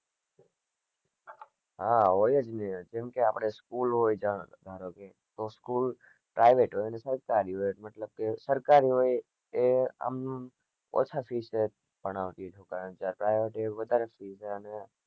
હા હોય જ ને જેમકે આપને school હોય જ્યાં ધારોકે school private હોય સરકારી હોય મતલબ કે સરકારી હોય એ આમ ઓછા fees લઇ ને ભણાવતી હોય જયારે private એ વધારે fees લે અને